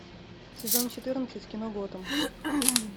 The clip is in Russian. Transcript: сезон четырнадцать кино готэм